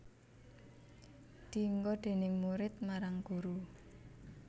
Dienggo déning murid marang guru